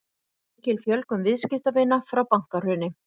Mikil fjölgun viðskiptavina frá bankahruni